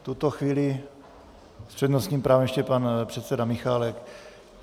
V tuto chvíli s přednostním právem ještě pan předseda Michálek.